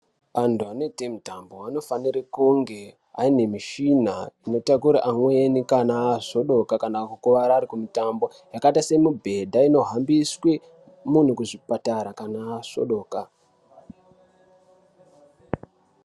Antu anoite mitambo anofanira kunge ane mishina inotakure amwenu kana azvodoka kana kukuwara arikumutambo, yakaita semibhedha inohambiswe munhu kuchipatara kana azvodoka.